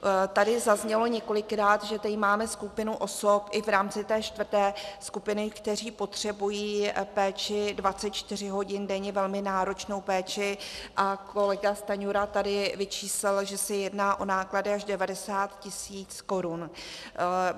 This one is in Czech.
Tady zaznělo několikrát, že tady máme skupinu osob i v rámci té čtvrté skupiny, které potřebují péči 24 hodin denně, velmi náročnou péči, a kolega Stanjura tady vyčíslil, že se jedná o náklady až 90 tisíc korun.